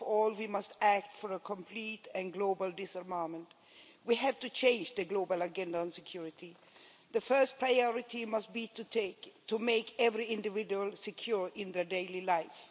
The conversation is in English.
We must control the weapons in the world, but most of all, we must act for a complete and global disarmament. We have to change the global agenda on security. The first priority must be to make every individual secure in their daily life.